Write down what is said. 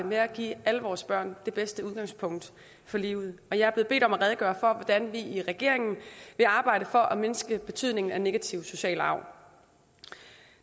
med at give alle vores børn det bedste udgangspunkt for livet jeg blevet bedt om at redegøre for hvordan vi i regeringen vil arbejde for at mindske betydningen af negativ social arv